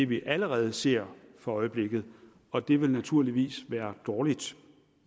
vi allerede ser for øjeblikket og det ville naturligvis være dårligt